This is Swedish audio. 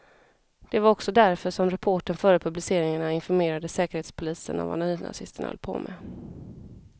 Det var också därför som reportern före publiceringarna informerade säkerhetspolisen om vad nynazisterna höll på med.